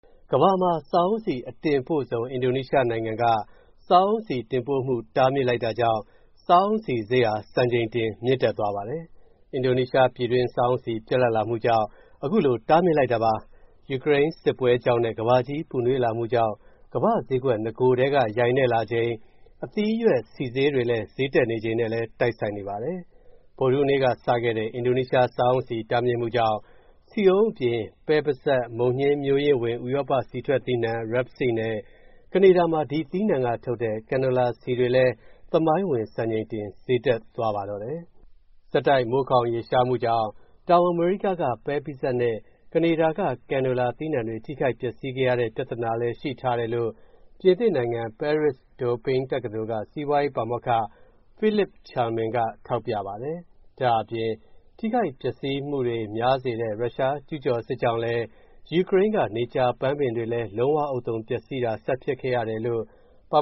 ကမ္ဘာမှာ စားအုန်းဆီ အတင်ပို့ဆုံး အင်ဒိုနီးရှားနိုင်ငံက စားအုန်းဆီတင်ပို့မှု တားမြစ်လိုက်တာကြောင့် စားအုန်းဆီဈေးဟာ စံချိန်တင် မြင့်တက်သွားပါတယ်။ အင်ဒိုနီးရှား ပြည်တွင်း စားအုန်းဆီ ပြတ်လပ်လာမှုကြောင့် အခုလို တားမြစ်လိုက်တာပါ။ ယူကရိန်းစစ်ပွဲကြောင့်နဲ့ ကမ္ဘာကြီးပူနွေးလာမှုကြောင့် ကမ္ဘာ့ဈေးကွက် နဂိုတည်းက ယိုင်နဲ့လာချိန် အသီးအရွက်ဆီဈေးတွေ ဈေးတက်နေချိန်နဲ့လည်း တိုက်ဆိုင်နေပါတယ်။ ဗုဒ္ဓဟူးနေ့ကစတဲ့ အင်ဒိုနီးရှား စားအုန်းဆီ တားမြစ်မှုကြောင့် ဆီအုန်းအပြင် ပဲပိစပ်၊ မုန်ညှင်းမျိုးရင်းဝင် ဥရောပ ဆီထွက်သီးနှံ Rapeseed နဲ့ ကနေဒါမှာ ဒီသီးနှံကထုတ်တဲ့ Canola ဆီတွေလည်း သမိုင်းဝင် စံချိန်တင် ဈေးတက်သွားပါတယ်။ ဆက်တိုက် မိုးခေါင်ရေရှားမူကြောင့် တောင်အမေရိကက ပဲပိစပ်နဲ့ ကနေဒါက Canola သီးနှံတွေ ထိခိုက်ပျက်စီးခဲ့ရတဲ့ ပြဿနာကလည်း ရှိထားတယ်လို့ ပြင်သစ်နိုင်ငံ Paris-Dauphine တက္ကသိုလ်က စီးပွားရေးပါမောက္ခ Philippe Chalmin က ထောက်ပြပါတယ်။ ဒါ့အပြင် ထိခိုက်ပျက်စီးမှုများစေတဲ့ ရုရှားကျုးကျော်စစ်ကြောင့်လည်း ယူကရိန်းက နေကြာပန်းပင်တွေလည်း လုံးဝဥဿုံ ပျက်စီးတာ ဆက်ဖြစ်ခဲ့ရတယ်လို့ ပါ